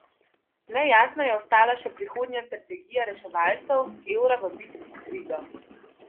Nejasna je ostala še prihodnja strategija reševalcev evra v bitki s krizo.